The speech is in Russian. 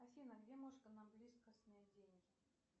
афина где можно нам близко снять деньги